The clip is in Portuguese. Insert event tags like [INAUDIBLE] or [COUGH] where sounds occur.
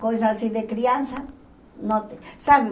coisas assim de criança, [UNINTELLIGIBLE] sabe?